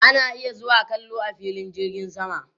Ana iya zuwa kallo a filin jirgin sama